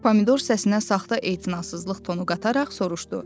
Pomidor səsinə saxta etinasızlıq tonu qataraq soruşdu.